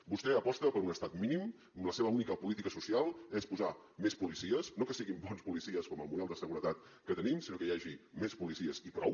vostè aposta per un estat mínim on la seva única política social és posar més policies no que siguin bons policies com el model de seguretat que tenim sinó que hi hagi més policies i prou